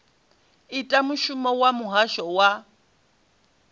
ita mushumo wa muhasho wa